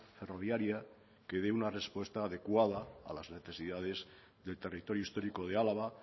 ferroviaria que dé una respuesta adecuada a las necesidades del territorio histórico de álava